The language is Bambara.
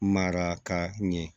Maraka ɲɛ